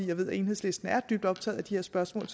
jeg ved at enhedslisten er dybt optaget af de her spørgsmål